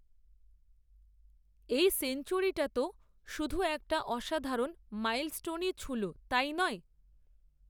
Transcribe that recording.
এই সেঞ্চুরিটা তো শুধু একটা অসাধারণ মাইলস্টোনই ছুঁল, তাই নয়